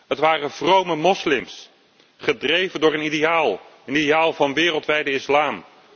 Het waren vrome moslims gedreven door een ideaal, het ideaal van de wereldwijde islam.